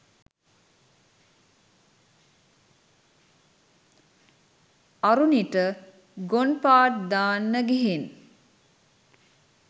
අරුනිට ගොන් පාට් දාන්න ගිහින්